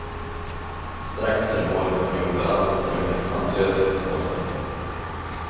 Strax före mål kom han i obalans och slungades handlöst mot målstolpen.